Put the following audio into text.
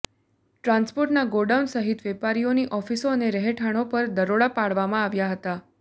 ટ્રાન્સપોર્ટર્સના godown સહિત વેપારીઓની ઓફિસો અને રહેઠાણો પર દરોડા પાડવામાં આવ્યા હતા